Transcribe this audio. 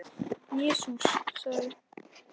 Jesús sagði:.